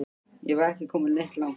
Ég var ekki kominn neitt langt.